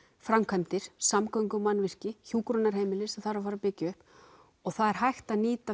framkvæmdir samgöngumannvirki hjúkrunarheimili sem þarf að fara að byggja upp og það er hægt að nýta